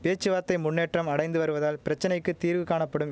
பேச்சுவார்த்தை முன்னேற்றம் அடைந்து வருவதால் பிரச்சனைக்கு தீர்வு காணப்படும்